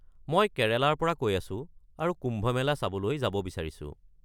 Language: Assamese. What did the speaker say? মই কেৰেলাৰ পৰা কৈ আছো আৰু কুম্ভ মেলা চাবলৈ যাব বিচাৰিছো।